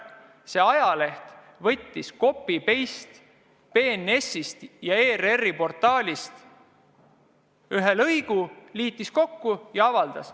See ajaleht võttis copy-paste BNS-ist ja ERR-i portaalist ühe lõigu, liitis need kokku ja avaldas.